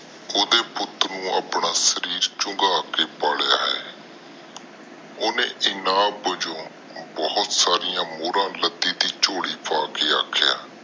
ਆਪਣਾ ਸ਼ਰਰੀ ਚੁੰਗਾ ਕੇ ਪਾਲਿਆ ਹੈ ਓਹਨੇ ਹਨ ਬਾਜੋ ਬਹੁਤ ਸਾਰੀਆਂ ਮੋਹਰਾ ਲਕੜੀ ਦੇ ਚੋਲ਼ੀ ਪਾ ਦਿਤੀਆਂ